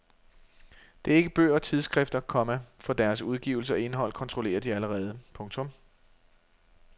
Det er ikke bøger og tidsskrifter, komma for deres udgivelse og indhold kontrollerer de allerede. punktum